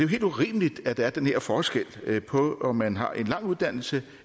helt urimeligt at der er den her forskel på om man har en lang uddannelse